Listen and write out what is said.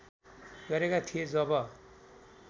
गरेका थिए जब